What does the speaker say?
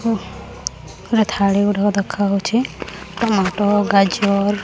ଓହ ଖାଲି ଥାଳିଗୁଡ଼ାକ ଦେଖାଯାଉଛି ଟମାଟ୍ ଗାଜର--